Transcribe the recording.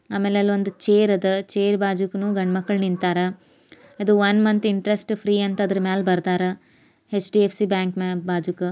ಆಮೇಲೆ ಅಲ್ಲಿ ಒಂದು ಚೇರ್ ಅದ ಚೇರ್ ಬಾಜೂಕುನು ಗಂಡ್ ಮಕ್ಳು ನಿಂತರ ಅದು ಒಂದು ಮಂತ್ ಇಂಟರೆಸ್ಟ್ ಫ್ರೀ ಅಂತ ಆದ್ರೂ ಮೇಲೆ ಬರ್ದಾರ ಎಚ್.ಡಿ.ಎಫ್.ಸಿ. ಬ್ಯಾಂಕ್ ನ ಬಾಜುಕ--